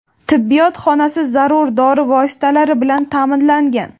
Tibbiyot xonasi zarur dori vositalari bilan ta’minlangan.